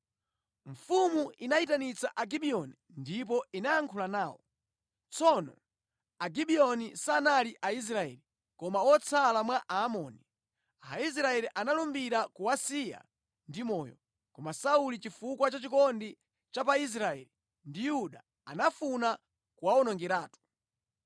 Mfumu inayitanitsa Agibiyoni ndipo inayankhula nawo. (Tsono Agibiyoni sanali Aisraeli, koma otsala mwa Aamori. Aisraeli analumbira kuwasiya ndi moyo, koma Sauli chifukwa cha chikondi cha pa Israeli ndi Yuda, anafuna kuwawonongeratu).